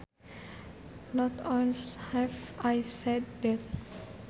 Not once have I said that